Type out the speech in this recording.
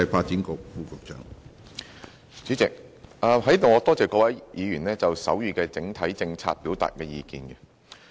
主席，我在此多謝各位議員就手語的整體政策表達意見。